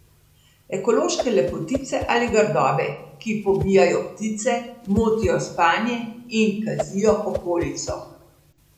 Ekološke lepotice ali grdobe, ki pobijajo ptice, motijo spanje in kazijo okolico?